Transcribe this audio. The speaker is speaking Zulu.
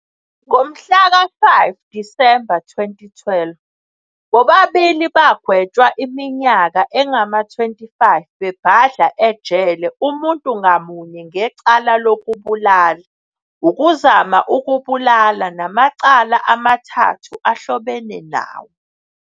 Ngomhlaka 5 Disemba 2012, bobabili bagwetshwa iminyaka engama-25 bebhadla ejele umuntu ngamunye ngecala lokubulala, ukuzama ukubulala namacala amathathu ahlobene nawo.